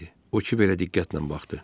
O kiberə diqqətlə baxdı.